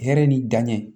Hɛrɛ ni danɲɛ